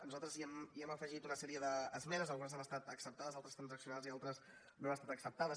nosaltres hi hem afegit una sèrie d’esmenes algunes han estat acceptades altres transaccionades i altres no han estat acceptades